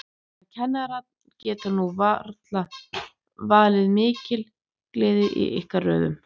En kannanir geta nú varla valdið mikilli gleði í ykkar röðum?